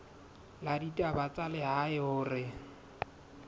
la ditaba tsa lehae hore